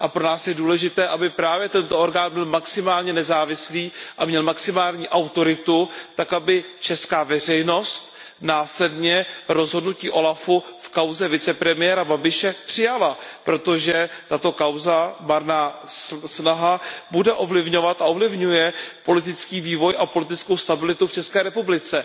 A pro nás je důležité, aby právě tento orgán byl maximálně nezávislý a měl maximální autoritu tak, aby česká veřejnost následně rozhodnutí úřadu OLAF v kauze vicepremiéra Babiše přijala, protože tato kauza, marná snaha, bude ovlivňovat a ovlivňuje politický vývoj a politickou stabilitu v České republice.